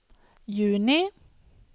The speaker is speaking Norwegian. juni